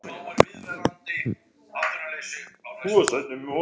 Veðrin gera manninn á einhvern hátt hlægilegan.